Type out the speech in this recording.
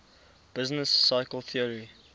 business cycle theory